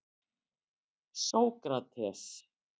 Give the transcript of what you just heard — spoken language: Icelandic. Sókrates